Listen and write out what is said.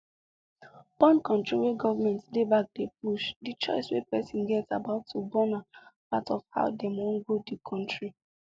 borncontrol wey government dey backdey push the choice wey person get about to bornna part of how dem wan grow the country